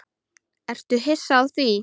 Ertu hissa á því?